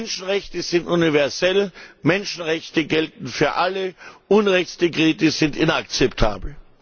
Menschenrechte sind universell, Menschenrechte gelten für alle, Unrechtsdekrete sind inakzeptabel!